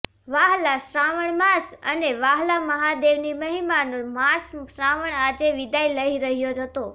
વ્હાલા શ્રાવણ માસ અને વ્હાલા મહાદેવની મહિમાનો માસ શ્રાવણ આજે વિદાય લઈ રહ્યો હતો